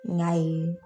N y'a ye